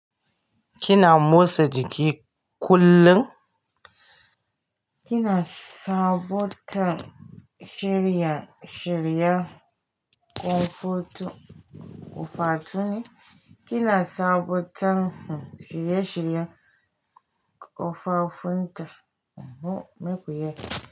Kina motsa jiki kullum? Kina sabotin shiri-shiriya ƙofafun? Kina sabotin shirye-shirye ƙofafunta? Mhm, meku ya yi.